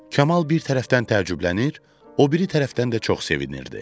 Kamal bir tərəfdən təəccüblənir, o biri tərəfdən də çox sevinirdi.